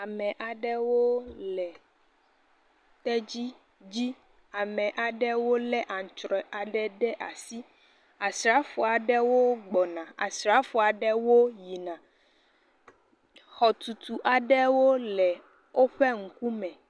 Ame aɖewo le tedzi dzi ame aɖewo lé antrɔe ɖe asi asrafo aɖewo yina asrafo aɖewo gbɔna, Xɔtutu aɖewo le woƒe ŋkume.